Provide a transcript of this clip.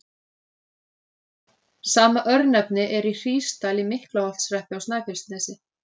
Sama örnefni er í Hrísdal í Miklaholtshreppi á Snæfellsnesi.